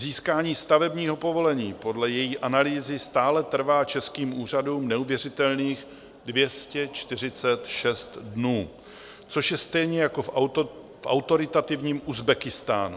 Získání stavebního povolení podle její analýzy stále trvá českým úřadům neuvěřitelných 246 dnů, což je stejně jako v autoritativním Uzbekistánu.